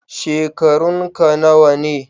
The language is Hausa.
Shekarunka nawa ne?